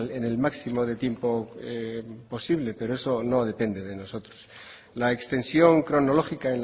en el máximo de tiempo posible pero eso no depende de nosotros la extensión cronológica